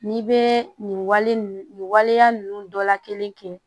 N'i bɛ nin wale nin nin waleya ninnu dɔla kelen kɛ